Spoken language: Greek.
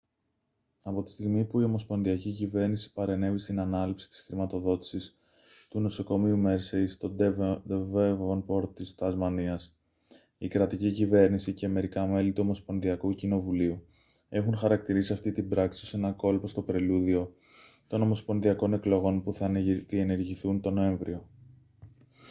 από τη στιγμή που η ομοσπονδιακή κυβέρνηση παρενέβη στην ανάληψη της χρηματοδότησης του νοσοκομείου mersey στο devonport της τασμανίας η κρατική κυβέρνηση και μερικά μέλη του ομοσπονδιακού κοινοβουλίου έχουν χαρακτηρίσει αυτή την πράξη ως ένα κόλπο στο πρελούδιο των ομοσπονδιακών εκλογών που θα διενεργηθούν τον νοέμβριο